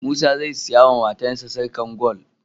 Musa zai siya wa matar shi sarƙar gwal